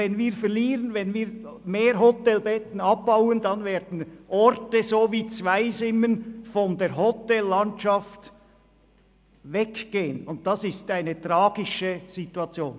Wenn wir zusätzlich Hotelbetten abbauen, werden Orte wie Zweisimmen von der Hotellandschaft verschwinden, und das ist eine tragische Situation.